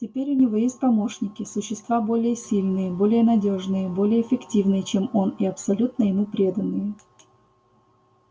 теперь у него есть помощники существа более сильные более надёжные более эффективные чем он и абсолютно ему преданные